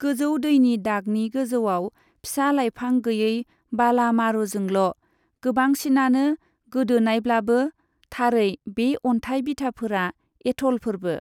गोजौ दैनि दागनि गोजौआव फिसा लाइफां गैयै बाला मारुजोंल', गोबांसिनानो गोदोनायब्लाबो, थारै बे अन्थाइ बिथाफोरा एथलफोरबो।